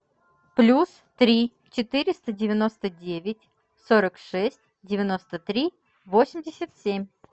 плюс три четыреста девяносто девять сорок шесть девяносто три восемьдесят семь